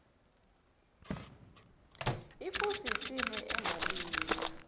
ifusi insimu engalinywa